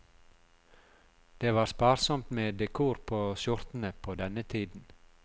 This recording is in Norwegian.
Det var sparsomt med dekor på skjortene på denne tiden.